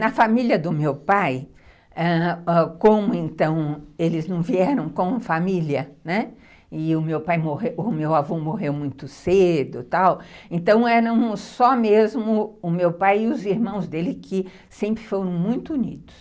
Na família do meu pai, ãh, como eles não vieram com família, e o meu avô morreu muito cedo, tal, então eram só mesmo o meu pai e os irmãos dele que sempre foram muito unidos.